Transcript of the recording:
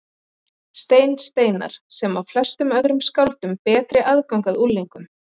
Stein Steinarr, sem á flestum öðrum skáldum betri aðgang að unglingum.